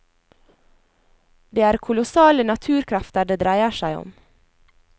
Det er kolossale naturkrefter det dreier seg om.